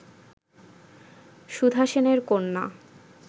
সুধা সেনের কন্যা